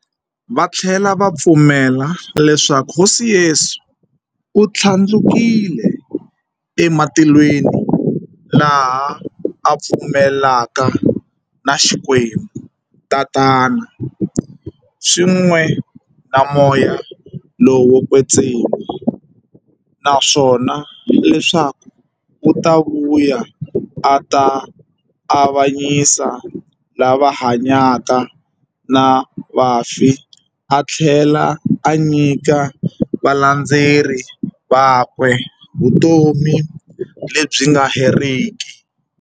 Vathlela va pfumela leswaku Hosi Yesu u thlandlukele ematilweni, laha a pfumelaka na Xikwembu-Tatana, swin'we na Moya lowo kwetsima, naswona leswaku u ta vuya a ta avanyisa lava hanyaka na vafi athlela a nyika valandzeri vakwe vutomi lebyi nga heriki.